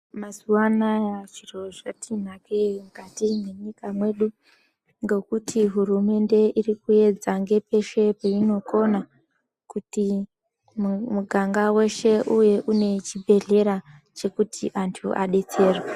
Mazuwanaya zviro zvatinakei mukati mwenyika yedu ngekuti hurumende irikuedza ngepeshe peinokona kuti muganga weshe uve une chibhehlera chekuti antu adetserwe.